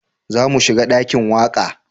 Za mu shiga dakin waƙa